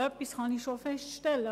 Etwas kann ich schon feststellen: